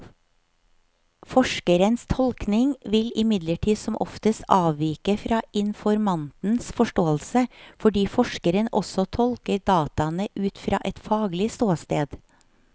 Forskerens tolkning vil imidlertid som oftest avvike fra informantens forståelse, fordi forskeren også tolker dataene ut fra et faglig ståsted.